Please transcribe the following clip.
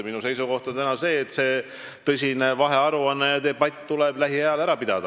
Minu seisukoht on selline, et lähiajal tuleb kabinetis teha vahearuanne ja see tõsine debatt ära pidada.